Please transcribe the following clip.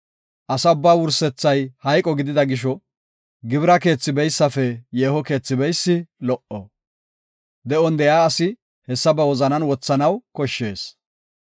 Asa ubbaa wursethay hayqo gidida gisho, gibira keethi beysafe yeeho keethi beysi lo77o; de7on de7iya asi hessa ba wozanan wothanaw koshshees.